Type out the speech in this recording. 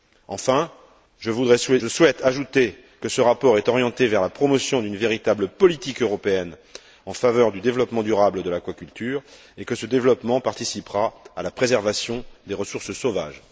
Enfin, je souhaite ajouter que ce rapport est orienté vers la promotion d'une véritable politique européenne en faveur du développement durable de l'aquaculture, et que ce développement participera à la préservation des ressources sauvages.